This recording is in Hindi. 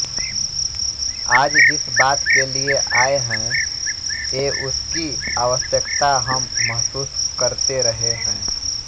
आज जिस बात के लिए आये हैं एउसकी आवश्यक्ता हम महसूस करते रहे हैं